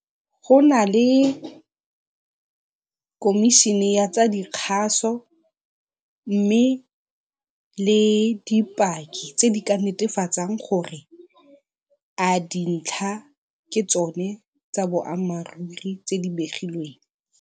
Go na le komišene ya tsa dikgaso mme le dipaki tse di ka netefatsang gore a dintlha ke tsone tsa boammaaruri tse di begilweng.